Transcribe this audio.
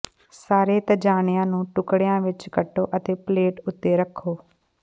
ਸਾਰੇ ਤਜਾਣਿਆਂ ਨੂੰ ਟੁਕੜਿਆਂ ਵਿੱਚ ਕੱਟੋ ਅਤੇ ਪਲੇਟ ਉੱਤੇ ਰੱਖੋ